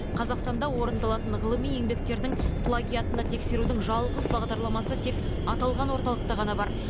қазақстанда орындалатын ғылыми еңбектердің плагиатына тексерудің жалғыз бағдарламасы тек аталған орталықта ғана бар